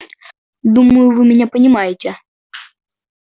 думаю вы меня понимаете